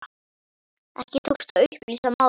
Ekki tókst að upplýsa málið.